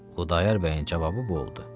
Xudayar bəyin cavabı bu oldu.